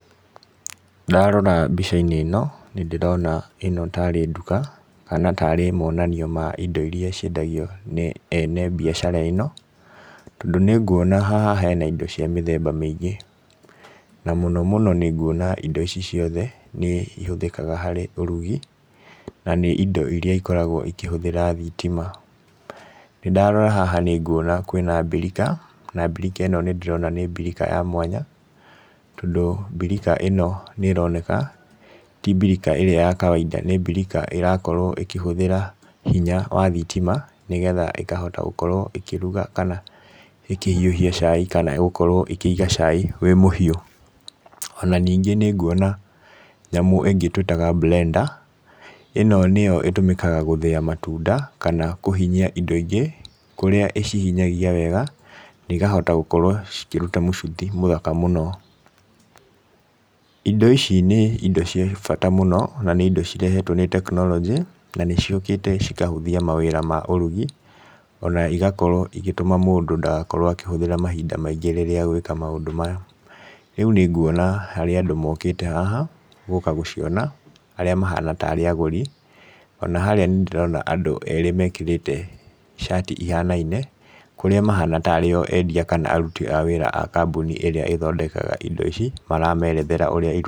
Ndarora mbica-inĩ ĩno nĩ ndĩrona ĩno tarĩ nduka, kana tarĩ monanio ma indo iria ciendagio nĩ ene mbiacara ĩno, tondũ nĩ nguona haha hena indo cia mĩthemba mĩingĩ, na mũno mũno nĩ nguona indo ici ciothe nĩ ihũthĩkaga harĩ ũrugi, na nĩ indo iria ikoragwo ikĩhũthĩra thitima, ndarora haha nĩ nguona kwĩna mbirika, na mbirika ĩno nĩ ndĩrona nĩ mbirika ya mwanya, tondũ mbirika ĩno nĩ ĩroneka ti mbirika ĩrĩa ya kawainda, nĩ mbirika ĩrakorwo ĩkĩhũthĩra hinya wa thitima nĩgetha ĩkahota gũkorwo ĩkĩruga kana ĩkĩhiũhia cai kana gũkorwo ikĩiga cai wĩ mũhiũ. Ona ningĩ nĩ nguona nyamũ ingĩ twĩtaga blender, ĩno nĩyo ĩtũmĩkaga gũthĩa matunda kana kũhinyia indo ingĩ kũrĩa ĩcihinyagia wega na ikahota gũkorwo cikĩruta mũcuthi mũthaka mũno. Indo ici nĩ indo cia bata mũno, na nĩ indo cirehetwo nĩ tekinoronjĩ, na nĩ ciũkĩte cikahũthia mawĩra ma ũrugi, ona igakorwo igĩtũma mũndũ ndagakorwo akĩhũthĩra mahinda maingĩ rĩrĩa agwĩka maũndũ maya. Rĩu nĩ nguona harĩ andũ mokĩte haha, gũka gũciona, arĩa mahana tarĩ agũri, ona harĩa nĩ ndĩrona andũ erĩ mekĩrĩte cati ihanaine, kũrĩa mahana tarĩ o endia kana aruti a wĩra a kambuni ĩrĩa ĩthondekaga indo ici maramerethera ũrĩa irutaga wĩra.